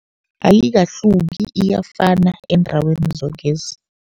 Ayikahluki iyafana eendaweni zokezi.